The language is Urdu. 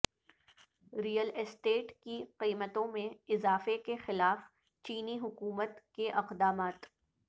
ریئل اسٹیٹ کی قیمتوں میں اضافے کے خلاف چینی حکومت کے اقدامات